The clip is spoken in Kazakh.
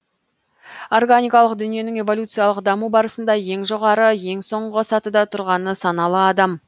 органикалық дүниенің эволюциялық даму барысында ең жоғары ең соңғы сатыда тұрғаны саналы адам